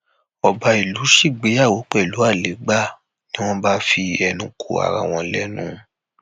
ọba ìlú ṣègbéyàwó pẹlú àlégbà ni wọn bá fẹnu ko ara wọn lẹnu